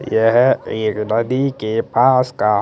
येह एक नदी के पास का--